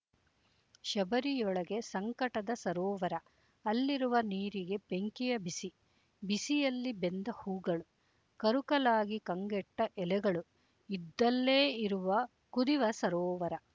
ಶಬರಿಯೊಳಗೆ ಸಂಕಟದ ಸರೋವರ ಅಲ್ಲಿರುವ ನೀರಿಗೆ ಬೆಂಕಿಯ ಬಿಸಿ ಬಿಸಿಯಲ್ಲಿ ಬೆಂದ ಹೂಗಳು ಕರುಕಲಾಗಿ ಕಂಗೆಟ್ಟ ಎಲೆಗಳು ಇದ್ದಲ್ಲೇ ಇರುವ ಕುದಿವ ಸರೋವರ